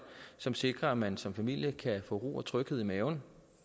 som sikrer at man som familie kan få ro og tryghed i maven